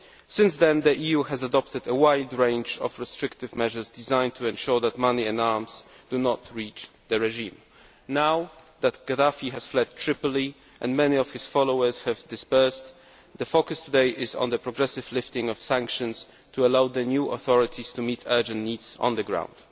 Since then, the EU has adopted a wide range of restrictive measures designed to ensure that money and arms do not reach the regime. Now that Gaddafi has fled Tripoli and many of his followers have dispersed, the focus today is on the progressive lifting of sanctions to allow the new authorities to meet urgent needs on the ground.